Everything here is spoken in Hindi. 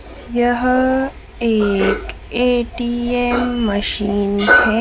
यह एक ए_टी_एम मशीन है।